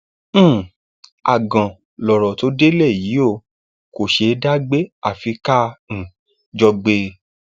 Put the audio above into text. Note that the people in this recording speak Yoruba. um àgàn lọrọ tó délé yìí ò kò ṣeé dá gbé àfi ká um jọ gbé e